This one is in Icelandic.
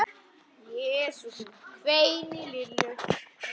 Jesús minn hvein í Lillu.